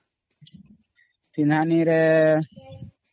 ପେହ୍ନନି ରେ !